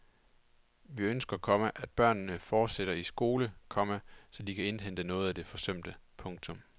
Vi ønsker, komma at børnene fortsætter i skole, komma så de kan indhente noget af det forsømte. punktum